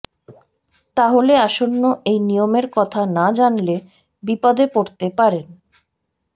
তাহলে আসন্ন এই নিয়মের কথা না জানলে বিপদে পড়তে পারেন